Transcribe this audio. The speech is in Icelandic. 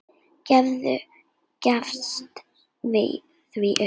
Gerður gefst því upp.